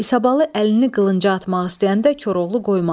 İsabalı əlini qılınca atmaq istəyəndə Koroğlu qoymadı.